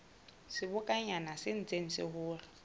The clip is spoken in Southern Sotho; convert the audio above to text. sebokonyana se ntseng se hola